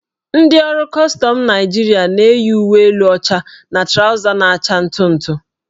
Ndị ọrụ kọstọm Naịjirịa na-eyi uwe elu ọcha na trawza na-acha ntụ ntụ.